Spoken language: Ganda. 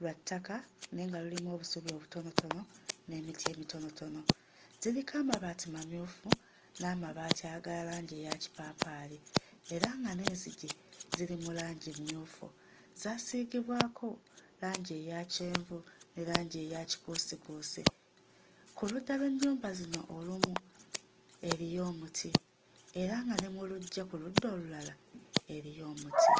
lwa ttaka naye nga lulimu obusubi obutonotono, n'emiti emitonotono. Ziriko amabaati mamyufu, n'amabaati aga langi eya kipaapaali era nga n'enzigi ziri mu langi mmyufu, zaasiigibwako langi eya kyenvu ne langi eya kikuusikuusi. Ku ludda lw'ennyumba zino olumu eriyo omuti, era nga ne ku luggya ku ludda olulala eriyo omuti.